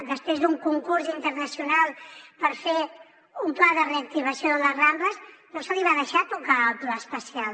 després d’un concurs internacional per fer un pla de reactivació de les rambles no se li va deixar tocar el pla especial